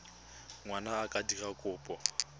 ngwana a ka dira kopo